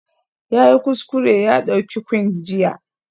Yayi kuskure ya ɗauki Quinn jiya